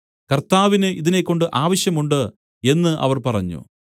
കർത്താവിന് ഇതിനെക്കൊണ്ട് ആവശ്യം ഉണ്ട് എന്നു അവർ പറഞ്ഞു